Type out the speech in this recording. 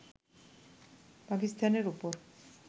পাকিস্তানের ওপর